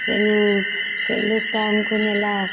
ସେଇ ନୁ ସେଇ ଲୁକ ଟା ଆମକୁ ନେଲା